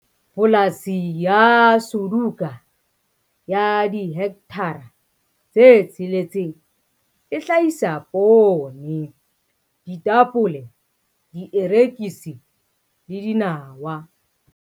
Polasi ya Suduka ya dihekthara tse tsheletseng e hlahisa poone, ditapole, dierekisi le dinawa.